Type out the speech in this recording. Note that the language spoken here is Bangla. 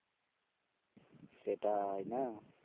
সেটাই না